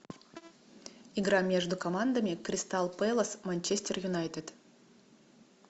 игра между командами кристал пэлас манчестер юнайтед